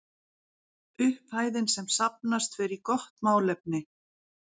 Upphæðin sem safnast fer í gott málefni.